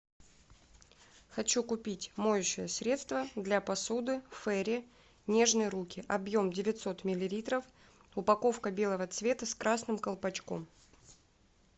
хочу купить моющее средство для посуды фейри нежные руки объем девятьсот миллилитров упаковка белого цвета с красным колпачком